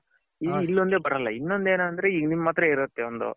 ಇಲ್ಲೇ ಒಂದೇ ಬರಲ್ಲ ಇನ್ನೋoದ್ ಏನಂದ್ರೆ ಈಗ ನಿಮ್ಮ ಅತ್ರ ಇರುತೆ ಒಂದು